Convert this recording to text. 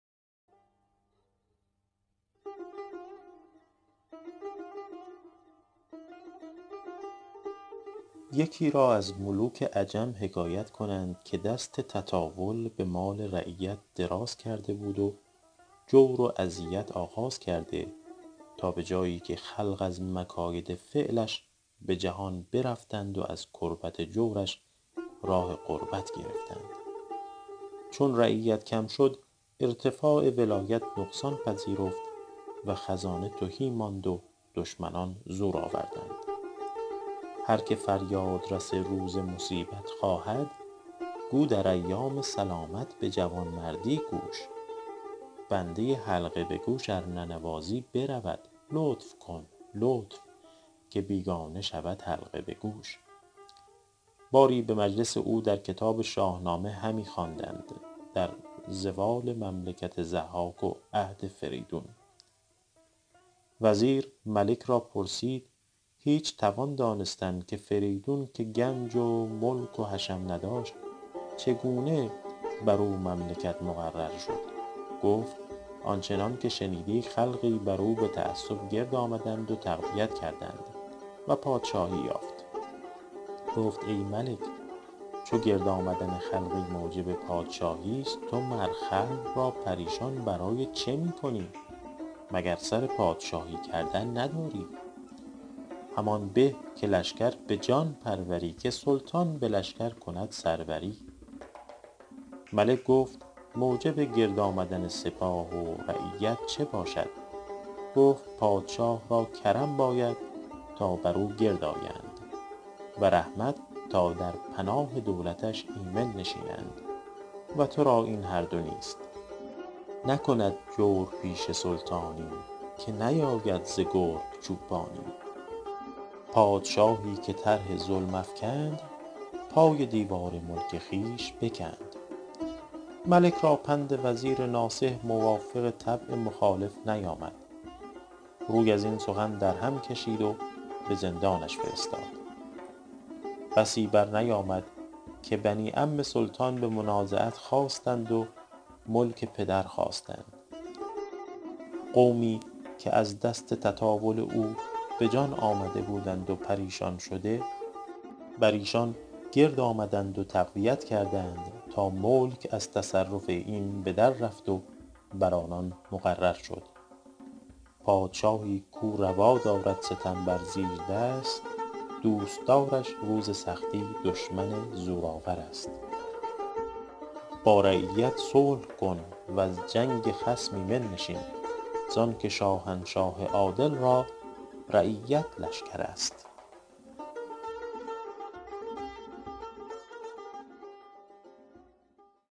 یکی را از ملوک عجم حکایت کنند که دست تطاول به مال رعیت دراز کرده بود و جور و اذیت آغاز کرده تا به جایی که خلق از مکاید فعلش به جهان برفتند و از کربت جورش راه غربت گرفتند چون رعیت کم شد ارتفاع ولایت نقصان پذیرفت و خزانه تهی ماند و دشمنان زور آوردند هر که فریاد رس روز مصیبت خواهد گو در ایام سلامت به جوانمردی کوش بنده حلقه به گوش ار ننوازی برود لطف کن لطف که بیگانه شود حلقه به گوش باری به مجلس او در کتاب شاهنامه همی خواندند در زوال مملکت ضحاک و عهد فریدون وزیر ملک را پرسید هیچ توان دانستن که فریدون که گنج و ملک و حشم نداشت چگونه بر او مملکت مقرر شد گفت آن چنان که شنیدی خلقی بر او به تعصب گرد آمدند و تقویت کردند و پادشاهی یافت گفت ای ملک چو گرد آمدن خلقی موجب پادشاهیست تو مر خلق را پریشان برای چه می کنی مگر سر پادشاهی کردن نداری همان به که لشکر به جان پروری که سلطان به لشکر کند سروری ملک گفت موجب گرد آمدن سپاه و رعیت چه باشد گفت پادشه را کرم باید تا بر او گرد آیند و رحمت تا در پناه دولتش ایمن نشینند و ترا این هر دو نیست نکند جورپیشه سلطانی که نیاید ز گرگ چوپانی پادشاهی که طرح ظلم افکند پای دیوار ملک خویش بکند ملک را پند وزیر ناصح موافق طبع مخالف نیامد روی از این سخن در هم کشید و به زندانش فرستاد بسی بر نیامد که بنی عم سلطان به منازعت خاستند و ملک پدر خواستند قومی که از دست تطاول او به جان آمده بودند و پریشان شده بر ایشان گرد آمدند و تقویت کردند تا ملک از تصرف این به در رفت و بر آنان مقرر شد پادشاهی کاو روا دارد ستم بر زیردست دوستدارش روز سختی دشمن زورآورست با رعیت صلح کن وز جنگ خصم ایمن نشین زان که شاهنشاه عادل را رعیت لشکرست